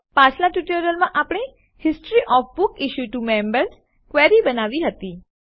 પાછલાં ટ્યુટોરીયલોમાં આપણે history of books issued to members query બનાવી હતી